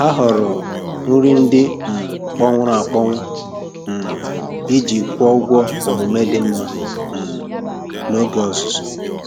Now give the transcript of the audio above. Ha họọrọ nri ndị um kpọnwụrụ akpọnwụ um iji kwụọ ụgwọ omume ọma um n'oge ọzụzụ.